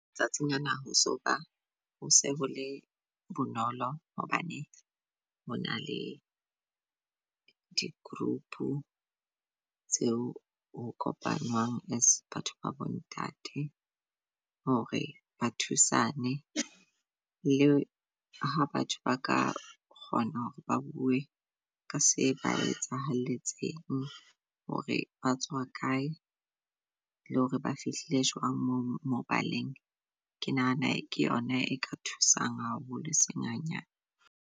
Matsatsing ana ho so ba hose hole bonolo hobane ho na le di-group tseo ho kopanwang as batho ba bo ntate. Hore ba thusane leo ha batho ba ka kgona hore ba bue ka se ba etsaheletseng hore batswa kae le hore ba fihlile jwang mobaleng. Ke nahana ke yona e ka thusang haholo, eseng hanyane.